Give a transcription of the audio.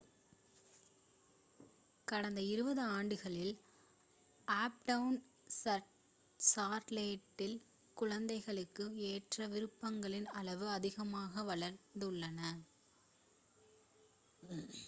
கடந்த 20 ஆண்டுகளில் அப்டவுன் சார்லோட்டில் குழந்தைகளுக்கு ஏற்ற விருப்பங்களின் அளவு அதிவேகமாக வளர்ந்துள்ளது